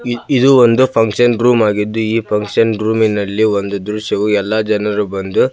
ಇದು ಒಂದು function room ಆಗಿದ್ದು ಈ ಫಕ್ಷನ್ ರೂಮಿನಲ್ಲಿ ಒಂದು ದೃಶ್ಯವು ಎಲ್ಲಾ ಜನರು ಬಂದು --